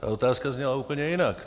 Ta otázka zněla úplně jinak.